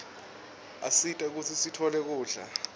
asita kutsi sitfole kudla